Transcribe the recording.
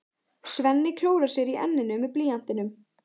Svenni klórar sér í enninu með blýantinum.